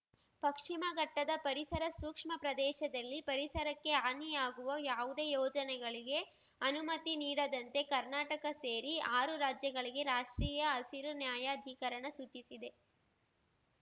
ಪಕ್ಷಿಮ ಘಟ್ಟದ ಪರಿಸರ ಸೂಕ್ಷ್ಮ ಪ್ರದೇಶದಲ್ಲಿ ಪರಿಸರಕ್ಕೆ ಹಾನಿಯಾಗುವ ಯಾವುದೇ ಯೋಜನೆಗಳಿಗೆ ಅನುಮತಿ ನೀಡದಂತೆ ಕರ್ನಾಟಕ ಸೇರಿ ಆರು ರಾಜ್ಯಗಳಿಗೆ ರಾಷ್ಟ್ರೀಯ ಹಸಿರು ನ್ಯಾಯಾಧಿಕರಣ ಸೂಚಿಸಿದೆ